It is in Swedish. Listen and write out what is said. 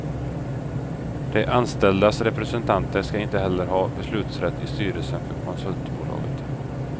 De anställdas representanter skall inte heller ha beslutsrätt i styrelsen för konsultbolaget.